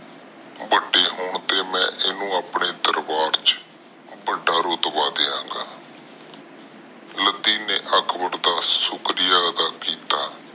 ਵੱਡੇ ਹੋਣ ਤੇ ਮੈਂ ਇਹਨੂੰ ਆਪਣੇ ਦਰਬਾਰ ਚ ਵਡਾ ਰੁਤਬਾ ਦਿਆਂਗਾ ਲੱਦੀ ਨੇ ਅਕਬਰ ਦਾ ਸ਼ੁਕ੍ਰਿਆਦਾ ਕੀਤਾ